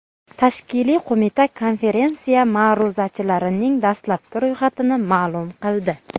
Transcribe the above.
Tashkiliy qo‘mita konferensiya ma’ruzachilarining dastlabki ro‘yxatini ma’lum qildi.